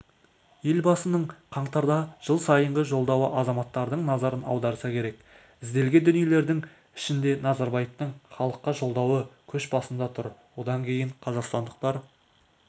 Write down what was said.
елбасының қаңтардағы жыл сайынғы жолдауы азаматтардың назарын аударса керек ізделген дүниелердің ішінде назарбаевтың халыққа жолдауы көш басында тұр одан кейін қазақстандықтар